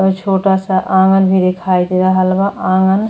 छोटा सा आँगन भी देखाई दे रहल बा। आँगन --